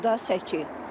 Dardır da səki.